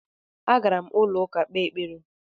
Agara m n'ụlọụka kpee ekpere